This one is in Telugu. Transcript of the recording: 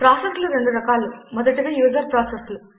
ప్రాసెస్లు రెండు రకాలు మొదటివి యూజర్ ప్రాసెస్లు